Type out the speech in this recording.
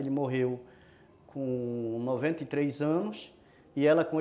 Ele morreu com noventa e três anos e ela com oi